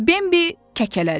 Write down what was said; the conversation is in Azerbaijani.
Bambi kəkələdi.